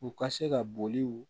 U ka se ka boli